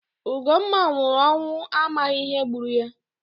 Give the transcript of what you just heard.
Ugomma nwụrụ ọnwụ amaghị ihe gburu ya